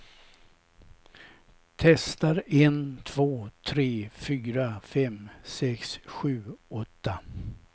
Testar en två tre fyra fem sex sju åtta.